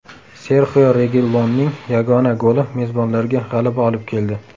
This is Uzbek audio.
Serxio Regilonning yagona goli mezbonlarga g‘alaba olib keldi.